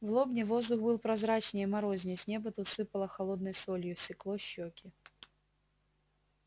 в лобне воздух был прозрачней морозней с неба тут сыпало холодной солью секло щеки